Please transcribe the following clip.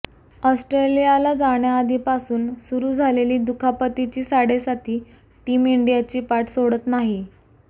ऑस्ट्रेलियाला जाण्याआधीपासून सुरू झालेली दुखापतीची साडेसाती टीम इंडियाची पाठ सोडत नाहीए